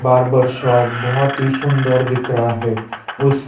barber shop बहोत ही सुंदर दिख रहा है उस--